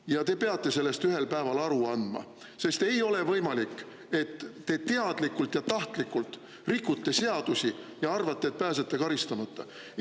Ja te peate sellest ühel päeval aru andma, sest ei ole võimalik, et te teadlikult ja tahtlikult rikute seadusi ja arvate, et pääsete karistamata.